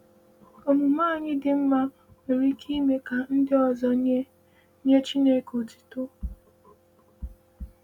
Omume anyị dị mma nwere ike ime ka ndị ọzọ nye nye Chineke otuto.